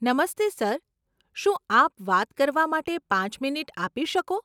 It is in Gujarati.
નમસ્તે સર, શું આપ વાત કરવા માટે પાંચ મિનિટ આપી શકો?